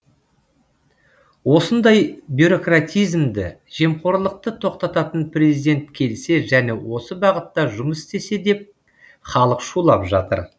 осындай бюрократизмді жемқорлықты тоқтататын президент келсе және осы бағытта жұмыс істесе деп халық шулап жатыр